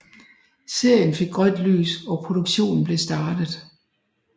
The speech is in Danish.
Serien fik grønt lys og produktionen blev startet